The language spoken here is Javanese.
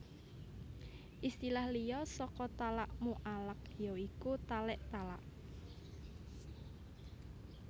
Istilah liya saka talak muallaq ya iku talik talak